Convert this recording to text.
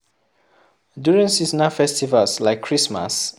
During Seasonal festivals like christmas